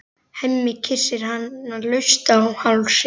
Hemmi kyssir hana laust á hálsinn.